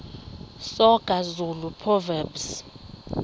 soga zulu proverbs